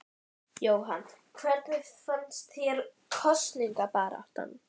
Jóhann: Hvernig fannst þér kosningabaráttan?